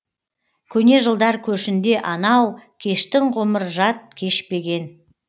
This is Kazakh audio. көне жылдар көшінде анау кештің ғұмыр жат кешпеген